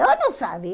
Ela não sabia.